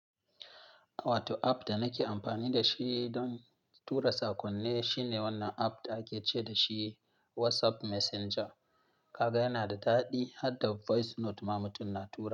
Wato app da nake amfani da shi don tura saƙonni shine wannan app da ake ce da shi WhatsApp Messenger. Kaga yana da daɗi, har da voice note ma mutum na tura.